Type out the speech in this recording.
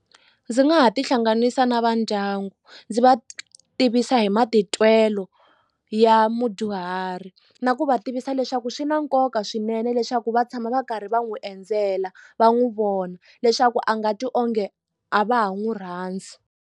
Ndzi nga ha tihlanganisa na vandyangu ndzi va tivisa hi matitwelo ya mudyuhari na ku va tivisa leswaku swi na nkoka swinene leswaku va tshama va karhi va n'wi endzela va n'wi vona leswaku a nga twi onge a va ha n'wi rhandzi.